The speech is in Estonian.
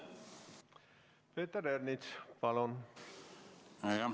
Peeter Ernits, palun!